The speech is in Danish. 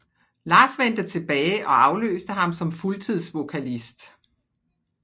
Lars vendte tilbage og afløste ham som fuldtidsvokalist